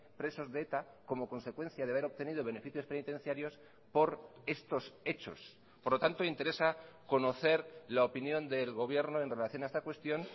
presos de eta como consecuencia de haber obtenido beneficios penitenciarios por estos hechos por lo tanto interesa conocer la opinión del gobierno en relación a esta cuestión